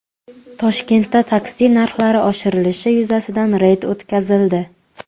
Toshkentda taksi narxlari oshirilishi yuzasidan reyd o‘tkazildi.